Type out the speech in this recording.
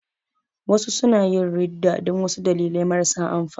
Wasu suna yin ridda dan wasu dalilai marasa amfani